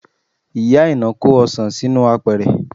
Ìyá Aina kó ọsàn sínú apẹ̀rẹ̀